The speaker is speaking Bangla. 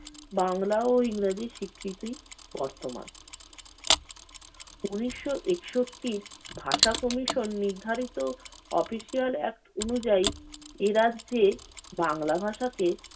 বাংলা ও ইংরেজি স্বীকৃতি বর্তমান। ঊনিশ একষট্টির ভাষা কমিশন নির্ধারিত official act অনুযায়ী এ রাজ্যে বাংলা ভাষাকে